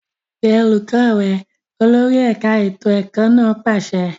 Pe olùkọ́ rẹ! Olórí ẹ̀ka ètò ẹ̀kọ́ náà pàṣẹ.